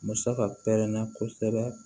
Musaka pɛrɛnna kosɛbɛ